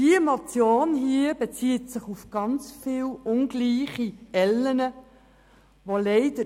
Diese Motion bezieht sich auf manch ungleiche Ellen, mit welchen gemessen wird.